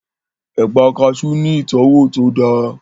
Ẹ̀pà kaasú ní ìtọ́wò tó dáa